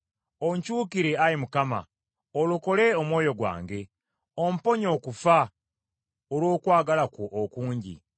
Onkyukire, Ayi Mukama , olokole omwoyo gwange; omponye okufa olw’okwagala kwo okungi.